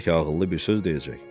Bəlkə ağıllı bir söz deyəcək.